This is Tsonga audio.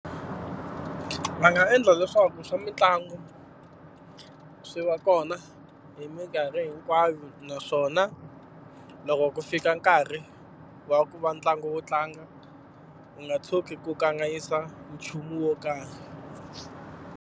Va nga endla leswaku swa mitlangu swi va kona hi minkarhi hinkwayo naswona, loko ku fika nkarhi wa ku va ntlangu wuo tlanga wu nga tshuki ku kanganyisa nchumu wo karhi.